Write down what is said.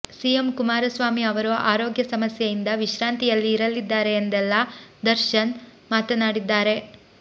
CM Kumaraswamy ಅವರು ಆರೋಗ್ಯ ಸಮಸ್ಯೆಯಿಂದ ವಿಶ್ರಾಂತಿಯಲ್ಲಿ ಇರಲಿದ್ದಾರೆ ಎಂದೆಲ್ಲ ದರ್ಶನ್ ಮಾತನಾಡಿದ್ದಾರೆ